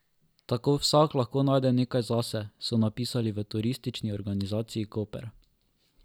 Tako vsak lahko najde nekaj zase, so zapisali v Turistični organizaciji Koper.